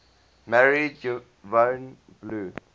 married yvonne blue